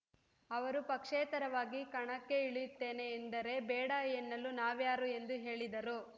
ಅವರು ಪಕ್ಷೇತರವಾಗಿ ಕಣಕ್ಕೆ ಇಳಿಯುತ್ತೇನೆ ಎಂದರೆ ಬೇಡ ಎನ್ನಲು ನಾವ್ಯಾರು ಎಂದು ಹೇಳಿದರು